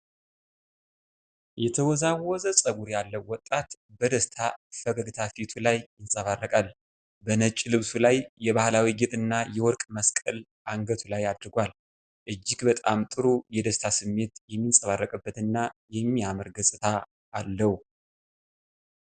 የተወዛወዘ ፀጉር ያለው ወጣት በደስታ ፈገግታ ፊቱ ላይ ይንጸባረቃል። በነጭ ልብሱ ላይ የባህላዊ ጌጥና የወርቅ መስቀል አንገቱ ላይ አድርጓል። እጅግ በጣም ጥሩ የደስታ ስሜት የሚንጸባረቅበትና የሚያምር ገጽታ አለው።